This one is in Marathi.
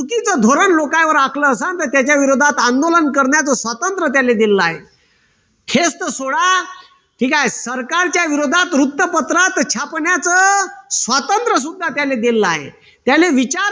धोरण लोकांवर आखलं असल तर त्याच्या विरोधात आंदोलन करण्याच स्वातंत्र त्यांनी दिलेलं आहे. हेच तर सोडा. ठीक आहे. सरकारच्या विरोधात वृत्तपत्रात छापण्याच स्वातंत्र सुद्धा त्यांनी दिलेलं आहे. त्यांना विचार